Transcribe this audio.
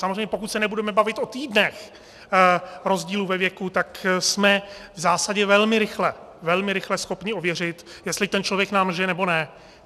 Samozřejmě pokud se nebudeme bavit o týdnech rozdílu ve věku, tak jsme v zásadě velmi rychle, velmi rychle schopni ověřit, jestli ten člověk nám lže, nebo ne.